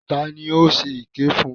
Ta ni ó ṣe èké fún?